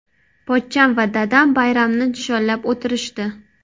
Pochcham va dadam bayramni nishonlab o‘tirishdi.